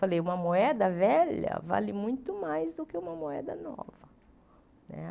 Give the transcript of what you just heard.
Falei, uma moeda velha vale muito mais do que uma moeda nova né.